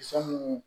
Fɛn munnu